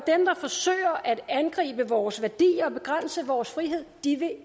forsøger at angribe vores værdier og begrænse vores frihed